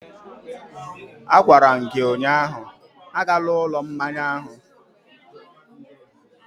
A gwara m gi ụnyahụ, agala ụlọ mmanya ahụ!